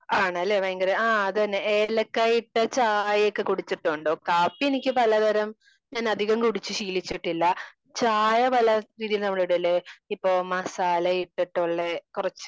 ആണ് അല്ലേ ഭയങ്കര ആ അത് തന്നെ ഏലക്കയയൊക്കെ ഇട്ട ചായ കൂടിച്ചിട്ടുണ്ടോ? കാപ്പി എനിക്ക് പല തരം ഞാൻ അധികം കുടിച്ച് ശീലിച്ചിട്ടില്ല. ചായ പല രീതിയിലും നമ്മൾ ഇടില്ലെ? ഇപ്പോ മസാല ഇട്ടിട്ടുള്ള കുറച്ച്